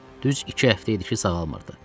Düz iki həftə idi ki, sağalmırdı.